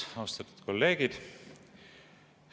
Austatud kolleegid!